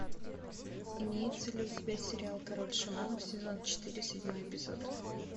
имеется ли у тебя сериал король шаманов сезон четыре седьмой эпизод